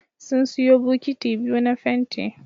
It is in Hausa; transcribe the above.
Sun siyo bukiti biyu na fenti